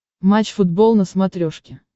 матч футбол на смотрешке